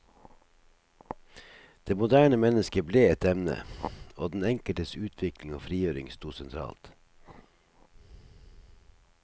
Det moderne mennesket ble et emne, og den enkeltes utvikling og frigjøring sto sentralt.